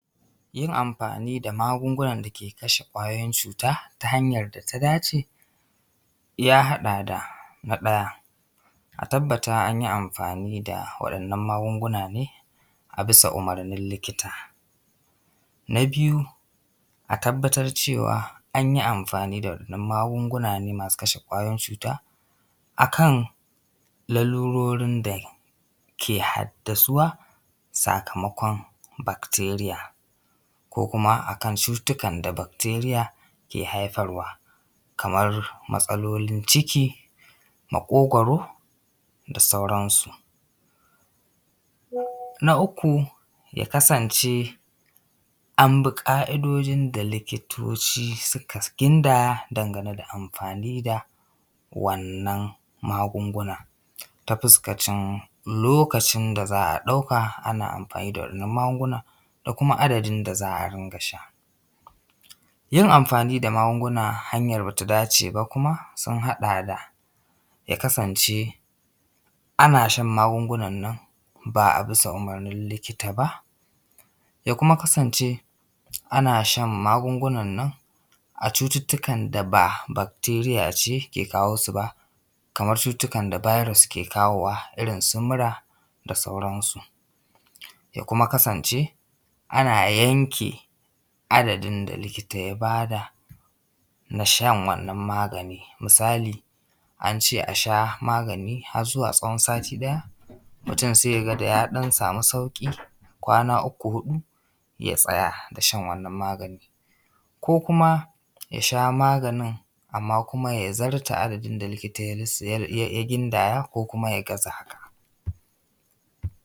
Yin amfani da magungunan da yake kashe ƙwayoyin cuta ta hanyar da ta dace ya haɗa da, na ɗaya a tabbata da an yi amfani da waɗannan magunguna ne a bisa umarnin likita. Na biyu a tabbatar cewa an yi amfani da wadannan magunguna ne masu kashe kwayoyin cuta a kan lalurorin da ke haddasuwa sakamakon bacteria ko kuma a kan cuttutukan da bacteria ke haifarwa, kamar matsalolin ciki, maƙogaro da sauransu. Na uku ya kasance an bi ƙa’idojin da likitoci suka gindaya dangane da amfani da wannan magungunan ta fuskacin lokacin da za a ɗauka ana amfani da waɗannan magungunan, da kuma adadin da za a ringa sha. Yin amfani da magunguna ta hanyar da ba su dace ba kuma sun haɗa da ya kasance ana shan magungunan nan ba a bisa umarnin likita ba, ya kuma kasance ana shan magungunan nan a cuttutukar da ba bacteria ke kawo su ba. Kamar su cututtukan da virus ke kawo wa irin su mura da sauran su. Ya kuma kasance a na yanke adadin da likita ya bada na shan wannan magani, misali an ce a sha magani har zuwa tsawon sati ɗaya mutum sai ya ga da ya ɗan samu sauƙi, kwana uku, huɗu ya tsaya da shan wannan magani ko kuma ya sha maganin amma kuma ya zarta abinda likita ya gindaya ko kuma ya gaza haka